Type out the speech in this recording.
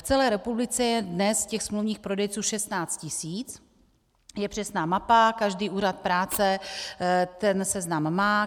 V celé republice je dnes těch smluvních prodejců 16 000, je přesná mapa, každý úřad práce ten seznam má.